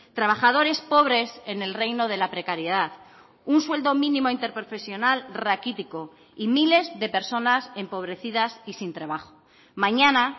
trabajadores pobres en el reino de la precariedad un sueldo mínimo interprofesional raquítico y miles de personas empobrecidas y sin trabajo mañana